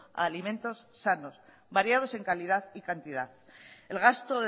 a alimentos sanos variados en calidad y cantidad el gasto